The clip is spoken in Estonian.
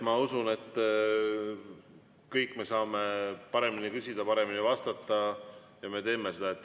Ma usun, et kõik me saame paremini küsida, paremini vastata ja me teeme seda.